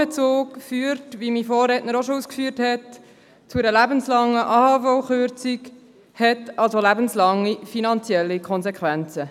Wie mein Vorredner auch schon ausgeführt hat, führt der AHV-Vorbezug zu einer lebenslangen AHV-Kürzung und hat also lebenslange finanzielle Konsequenzen.